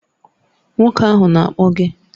Nwoke ahụ na-akpọ gị